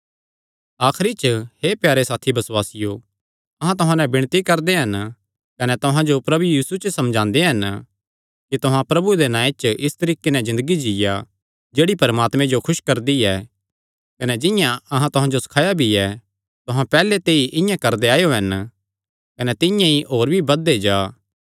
आखरी च हे प्यारे साथी बसुआसियो अहां तुहां नैं विणती करदे हन कने तुहां जो प्रभु यीशु च समझांदे हन कि तुहां प्रभु दे नांऐ च इस तरीके नैं ज़िन्दगी जीआ जेह्ड़ी परमात्मे जो खुस करदी ऐ कने जिंआं अहां तुहां जो सखाया भी ऐ तुहां पैहल्ले ते ई इआं करदे आएयो हन कने तिंआं ई होर भी बधदे जा